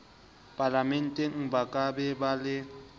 palamenteng ba ka ba le